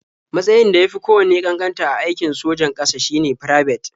Matsayn da ya fi kowanne ƙanƙanta a aikin sojan ƙasa shine Firabet.